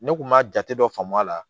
Ne kun ma jate dɔ faamu a la